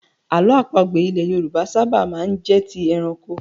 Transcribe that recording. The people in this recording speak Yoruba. Àlọ́ àpagbè ilẹ̀ Yorùbá ṣábà máa ń jẹ́ ti ẹranko.